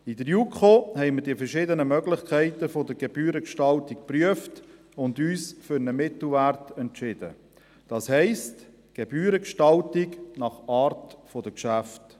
In der JuKo haben wir die verschiedenen Möglichkeiten der Gebührengestaltung geprüft und uns für einen Mittelwert entschieden, das heisst: Gebührengestaltung nach Art der Geschäfte.